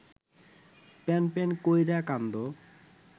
প্যানপ্যান কইরা কান্দো